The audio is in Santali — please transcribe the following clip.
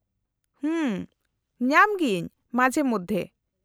-ᱦᱚᱸᱢ , ᱧᱟᱢ ᱜᱤᱭᱟᱹᱧ , ᱢᱟᱡᱷᱮ ᱢᱚᱫᱫᱷᱮ ᱾